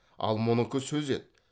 ал мұныкі сөз еді